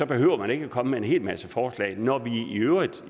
behøver at komme med en hel masse forslag når vi i øvrigt